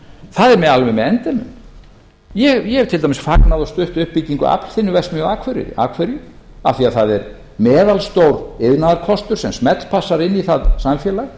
það er alveg með endemum ég til dæmis hef fagnað og stutt uppbyggingu aflþynnuverksmiðju á akureyri af hverju af því að það er meðalstór iðnaðarkostur sem smellpassar inn í það samfélag